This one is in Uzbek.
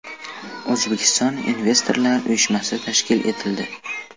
O‘zbekiston investorlar uyushmasi tashkil etildi.